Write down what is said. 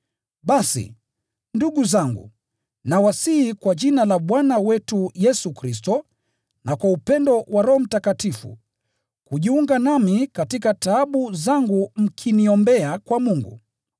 Basi, ndugu zangu, nawasihi kwa Jina la Bwana wetu Yesu Kristo na kwa upendo wa Roho Mtakatifu, kujiunga nami katika taabu zangu mkiniombea kwa Mungu.